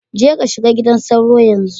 Jeka shiga gidan sauro yanzu